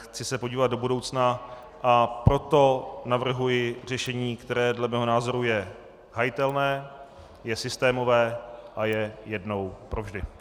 Chci se podívat do budoucna, a proto navrhuji řešení, které dle mého názoru je hájitelné, je systémové a je jednou provždy.